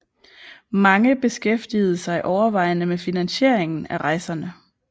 Mange beskæftigede sig overvejende med finansieringen af rejserne